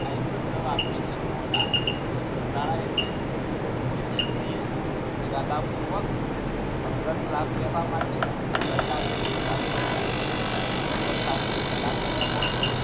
અહીં શબ્દ વાપર્યો છે ગોટાળા. ગોટાળા એટલે કોઈ વ્યક્તિ એ ઈરાદા પૂર્વક અંગત લાભ લેવા માટે સરકારને નુકસાન કર્યું હોય